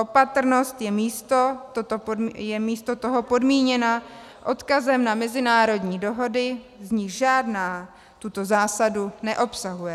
Opatrnost je místo toho podmíněna odkazem na mezinárodní dohody, z nichž žádná tuto zásadu neobsahuje.